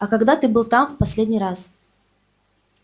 а когда ты был там в последний раз